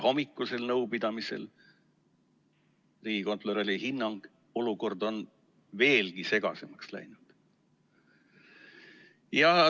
Hommikusel nõupidamisel oli riigikontrolöri hinnang, et olukord on veelgi segasemaks läinud.